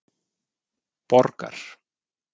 Borgar